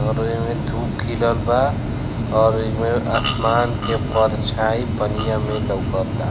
और ऐमें धुप खिलल बा और ऐ में आसमान के परछाई पनिया में लउकता।